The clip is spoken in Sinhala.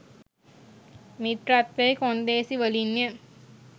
මිත්‍රත්වයේ කොන්දේසි වලින්ය.